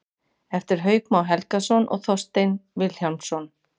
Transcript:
eftir hauk má helgason og þorstein vilhjálmsson